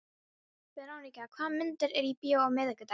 Veróníka, hvaða myndir eru í bíó á miðvikudaginn?